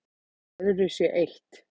Öðru sé eytt